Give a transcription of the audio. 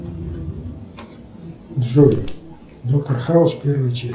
джой доктор хаус первая часть